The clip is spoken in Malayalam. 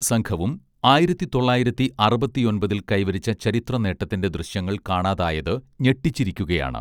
സംഘവും ആയിരത്തിതൊള്ളായിരത്തി അറുപത്തിയൊൻപതിൽ കൈവരിച്ച ചരിത്ര നേട്ടത്തിന്റെ ദൃശ്യങ്ങൾ കാണാതായത് ഞെട്ടിച്ചിരിക്കുകയാണ്